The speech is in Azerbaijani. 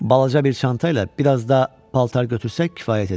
Balaca bir çanta ilə biraz da paltar götürsək kifayət edər.